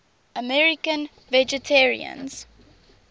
american vegetarians